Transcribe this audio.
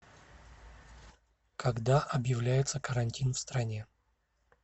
когда объявляется карантин в стране